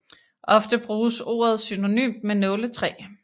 Ofte bruges ordet synonymt med nåletræ